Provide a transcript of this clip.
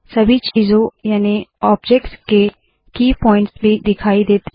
सभी चीजों याने ऑब्जेक्ट्स के की पोइंट्स भी दिखाई देते है